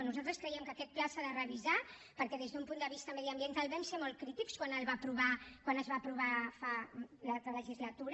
nosaltres creiem que aquest pla s’ha de revisar perquè des d’un punt de vista mediambiental vam ser molt crítics quan es va aprovar l’altra legislatura